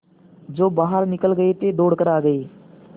जो बाहर निकल गये थे दौड़ कर आ गये